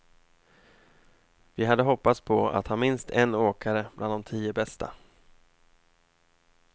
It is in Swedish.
Vi hade hoppats på att ha minst en åkare bland de tio bästa.